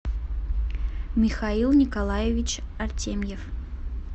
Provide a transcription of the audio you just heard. михаил николаевич артемьев